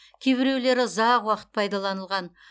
кейбіреулері ұзақ уақыт пайдаланылған